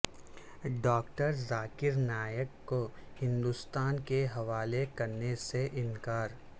doctor Zakir Naik کو ہندوستان کے حوالے کرنے سے انکار